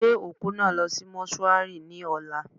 Gbé òkú náà lọ sí mọ́ṣúárì ní ọ̀la.